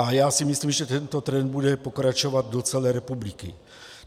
A já si myslím, že tento trend bude pokračovat do celé republiky.